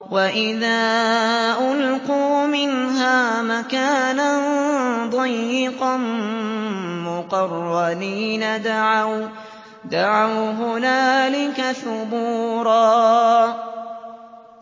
وَإِذَا أُلْقُوا مِنْهَا مَكَانًا ضَيِّقًا مُّقَرَّنِينَ دَعَوْا هُنَالِكَ ثُبُورًا